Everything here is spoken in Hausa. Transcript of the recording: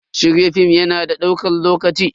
Shirya film ya na da ɗaukan lokaci.